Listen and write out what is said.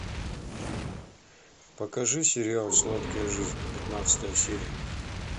покажи сериал сладкая жизнь пятнадцатая серия